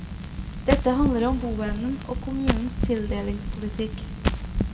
Dette handler om boevnen og kommunens tildelingspolitikk.